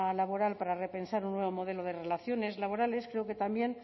laboral para repensar un nuevo modelo de relaciones laborales creo que también